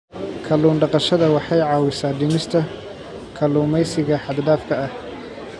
Kallun daqashada waxay caawisaa dhimista kalluumeysiga xad-dhaafka ah.